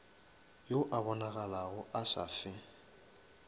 yo a bonagalago a safe